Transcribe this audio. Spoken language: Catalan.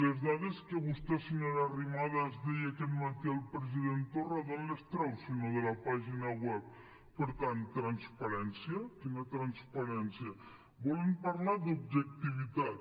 les dades que vostè senyora arrimadas deia aquest matí al president torra d’on les treu si no de la pàgina web per tant transparència quina transparència volen parlar d’objectivitat